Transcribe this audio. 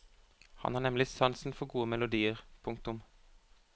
Han har nemlig sansen for gode melodier. punktum